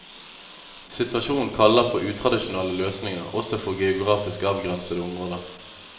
Situasjonen kaller på utradisjonelle løsninger også for geografisk avgrensede områder.